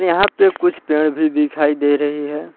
यहां पे कुछ पेड़ भी दिखाई दे रही है।